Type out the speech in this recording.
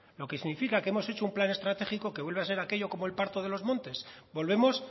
lo que significa que hemos hecho un plan estratégico que vuelve a ser aquello como el parto de los montes volvemos